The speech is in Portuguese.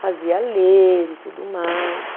Fazia ler e tudo mais.